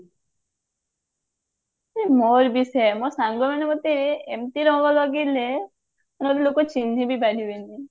ମୋର ବି ସେଇଆ ମୋ ସାଙ୍ଗ ମାନେ ମତେ ଏମତି ରଙ୍ଗ ଲଗେଇଲେ ମୁଁ କହିଲି ଲୋକ ଚିହ୍ନି ବି ପାରିବେନି